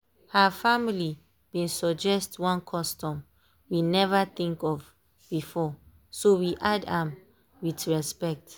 her family been suggest one custom we never think of beforeso we add am with respect.